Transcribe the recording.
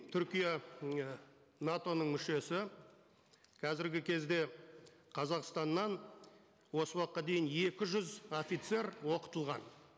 түркия м і нато ның мүшесі қазіргі кезде қазақстаннан осы уақытқа дейін екі жүз офицер оқытылған